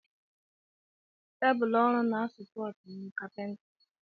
Tebụl ọrụ na sopọti ọrụ kapinta.